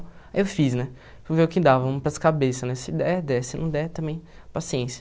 Aí eu fiz, né, fui ver o que dava, vamos para as cabeças, né, se der, der, se não der, também, paciência.